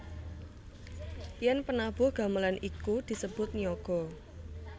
Yen penabuh gamelan iku disebut niyaga